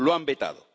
Lo han vetado.